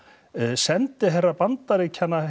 sendiherra Bandaríkjanna